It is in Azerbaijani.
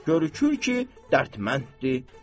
Görükür ki, dərtməndir.